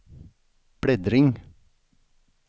bläddring